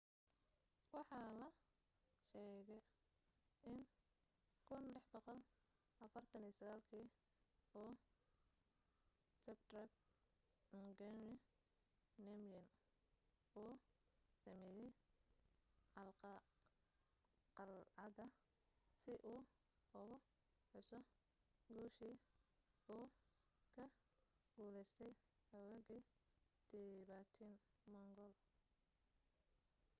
waxa la sheegaa in 1649 kii uu zhabdrung ngawang namgyel uu sameeyay qalcadda si uu ugu xuso guushii u ka guulaystay xoogagii tibetan-mongol